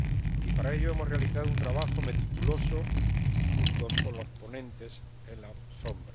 Y, para ello, hemos realizado un trabajo meticuloso junto con los ponentes alternativos.